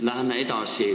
Läheme edasi.